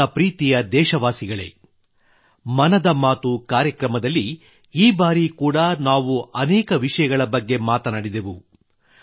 ನನ್ನ ಪ್ರೀತಿಯ ದೇಶವಾಸಿಗಳೇ ಮನದ ಮಾತು ಕಾರ್ಯಕ್ರಮದಲ್ಲಿ ಈ ಬಾರಿ ಕೂಡ ನಾವು ಅನೇಕ ವಿಷಯಗಳ ಬಗ್ಗೆ ಮಾತನಾಡಿದೆವು